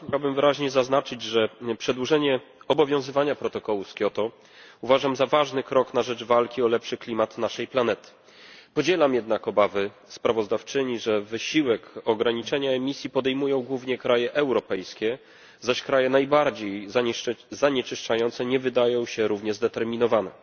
Na wstępie chciałbym wyraźnie zaznaczyć, że przedłużenie obowiązywania protokołu z Kioto uważam za ważny krok na rzecz walki o lepszy klimat naszej planety. Podzielam jednak obawy sprawozdawczyni, że wysiłek ograniczenia emisji podejmują głównie kraje europejskie, zaś kraje najbardziej zanieczyszczające nie wydają się równie zdeterminowane.